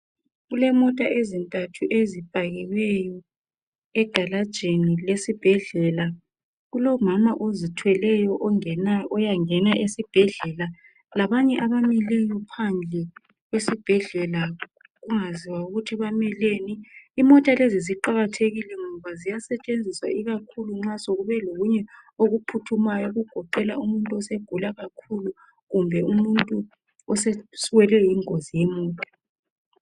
Kulemota ezintathu ezipakiweyo egalajini lesibhedlela kulomama ozithweleyo oyangena esibhedlela labanye abamileyo phandle esibhedlela kungaziwa ukuthi bameleni imota lezi ziqakathekile ngoba ziyasetshenziswa ikakhulu nxa sokube lokunye okuphuthumayo okugoqela umuntu osegula kakhulu kumbe umuntu osewelwe yingozi yemota.